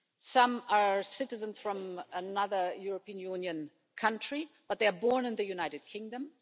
Some are citizens from another European Union country but they are born in the United Kingdom.